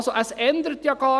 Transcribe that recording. Ich sage es noch einmal: